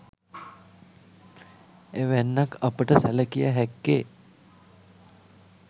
එවැන්නක් අපට සැලකිය හැක්කේ